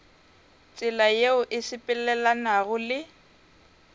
tsela yeo e sepelelanago le